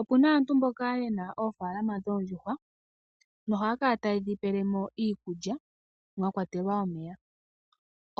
Opu na aantu mboka ye na oofaalama dhoondjuhwa nohaya kala taye dhi pele mo iikulya mwa kwatelwa omeya.